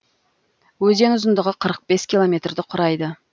өзен ұзындығы қырық бес километрді құрайды